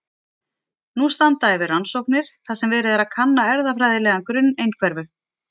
Nú standa yfir rannsóknir þar sem verið er að kanna erfðafræðilegan grunn einhverfu.